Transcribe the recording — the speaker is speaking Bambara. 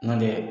N'o tɛ